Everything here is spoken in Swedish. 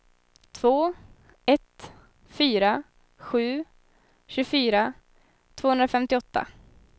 två ett fyra sju tjugofyra tvåhundrafemtioåtta